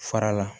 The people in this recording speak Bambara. Fara la